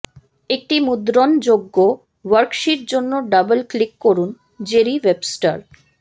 একটি মুদ্রণযোগ্য ওয়ার্কশীট জন্য ডাবল ক্লিক করুন জেরি ওয়েবস্টার